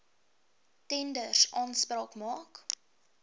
tenders aanspraak maak